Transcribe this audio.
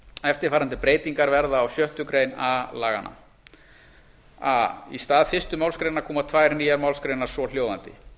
eftirfarandi breytingar verða á sjöttu grein a laganna a í stað fyrstu málsgrein koma tvær nýjar málsgreinar svohljóðandi